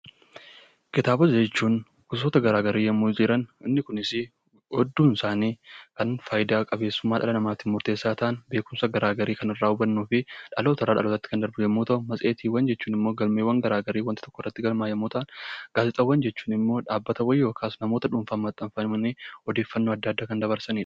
Kitaaba jechuun gosa garaagara kan jiran hedduun isaaniis kan dhala namaatiif murteessaa ta'an beekumsa garaagaraa kan irraa argannuu fi dhaloota irraa dhalootatti kan darbuu yommuu ta'u matseetii jechuun immoo galmeewwan garaagaraa bakka tokkotti galmaaye yoo ta'u , gaazexaawwan jechuun immoo dhaabbataawwan yookiin nama dhuunfaadhaan maxxanfamanii odeeffannoo kan dabarsanidha.